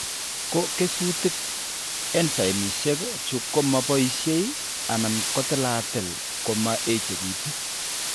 Ko kesutik, enzaimishek chu ko mo boishe, anan kotilatil ko ma echekitu.